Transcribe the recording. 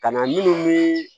Ka na minnu ni